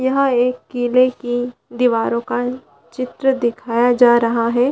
यहाँ एक किले की दीवारों का चित्र दिखाया जा रहा हैं ।